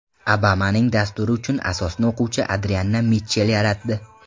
Obamaning dasturi uchun asosni o‘quvchi Adrianna Mitchell yaratdi.